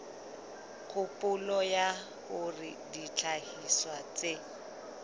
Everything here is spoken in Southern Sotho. kgopolo ya hore dihlahiswa tse